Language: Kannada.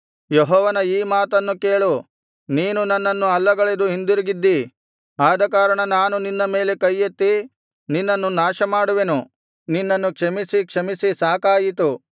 ಯೆಹೋವನ ಈ ಮಾತನ್ನು ಕೇಳು ನೀನು ನನ್ನನ್ನು ಅಲ್ಲಗಳೆದು ಹಿಂದಿರುಗಿದ್ದಿ ಆದಕಾರಣ ನಾನು ನಿನ್ನ ಮೇಲೆ ಕೈಯೆತ್ತಿ ನಿನ್ನನ್ನು ನಾಶಮಾಡುವೆನು ನಿನ್ನನ್ನು ಕ್ಷಮಿಸಿ ಕ್ಷಮಿಸಿ ಸಾಕಾಯಿತು